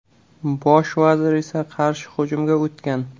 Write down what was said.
Bosh vazir esa qarshi hujumga o‘tgan.